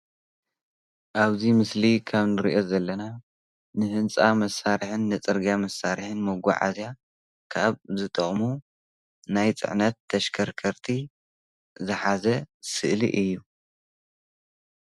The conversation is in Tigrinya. ኣብዚ ምስሊ ኣብ ካብ ንሪኦ ዘለና ንህንፃ መሳርሕን ንፅርግያ መሳርሕን መጉዓዝያ ካብ ዝጠቅሙ ናይ ፅዕነት ተሽከርከቲ ዝሓዘ ስእሊ እዩ።